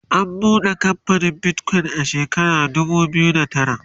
an buɗe kamfanin Bitcoin a shekara dubu biyu da tara